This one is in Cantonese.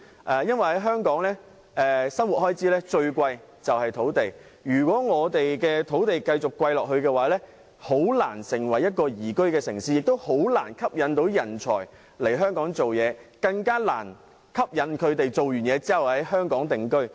這是因為香港的生活開支中以土地最為昂貴，土地持續昂貴便難以成為宜居的城市，難以吸引人才來香港工作，更難以吸引他們來港定居。